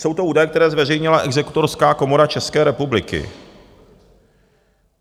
Jsou to údaje, které zveřejnila Exekutorská komora České republiky.